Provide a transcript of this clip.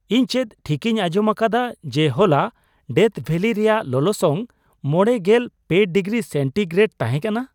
ᱤᱧ ᱪᱮᱫ ᱴᱷᱤᱠᱤᱧ ᱟᱧᱡᱚᱢ ᱟᱠᱟᱫᱟ ᱡᱮ ᱦᱚᱞᱟ ᱰᱮᱛᱷ ᱵᱷᱮᱞᱤ ᱨᱮᱭᱟᱜ ᱞᱚᱞᱚᱥᱚᱝ ᱕᱓ ᱰᱤᱜᱨᱤ ᱥᱮᱱᱴᱤᱜᱨᱮᱰ ᱛᱟᱦᱮᱸ ᱠᱟᱱᱟ ?